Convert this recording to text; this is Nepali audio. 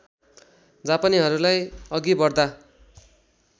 जापानीहरूलाई अघि बढ्ता